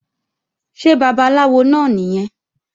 Ṣé babaláwo náà nìyẹn?